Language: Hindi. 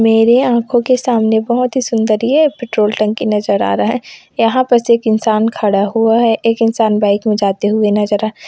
मेरे आंखों के सामने बहुत ही सुंदर यह पेट्रोल टंकी नजर आ रहा है यहाँ पर एक इंसान खड़ा हुआ है एक इंसान बाइक में जाते हो नजर--